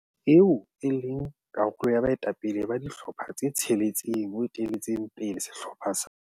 eo e leng karolo ya baetapele ba dihlopha tse tsheletseng o etelletse pele sehlopha sa